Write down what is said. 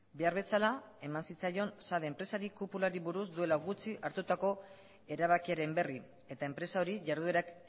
behar bezala eman zitzaion sade enpresari kupulari buruz duela gutxi hartutako erabakiaren berri eta enpresa hori jarduerak